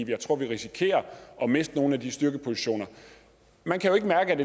jeg tror vi risikerer at miste nogle af de styrkepositioner man kan jo ikke mærke at